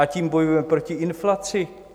A tím bojujeme proti inflaci.